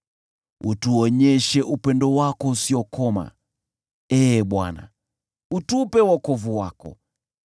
Utuonyeshe upendo wako usiokoma, Ee Bwana , utupe wokovu wako.